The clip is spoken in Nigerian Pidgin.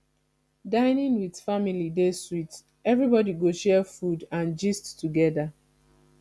dining with family dey sweet everybody go share food and gist together